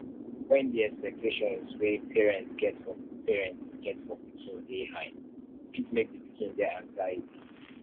when di expectations wey parnets get for parnets get for pikin dey high e fit make di pikin get anxiety